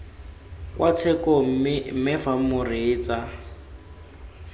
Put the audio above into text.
kwa tshekong mme fa moreetsa